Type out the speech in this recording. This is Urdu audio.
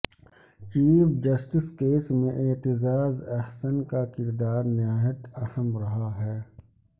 چیف جسٹس کیس میں اعتزاز احسن کا کردار نہایت اہم رہا ہے